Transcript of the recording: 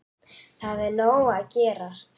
Það er nóg að gerast.